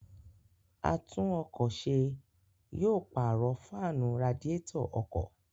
Àtún-ọkọ̀-se yóò pààrọ̀ fáànù radiétọ̀ ọkọ̀.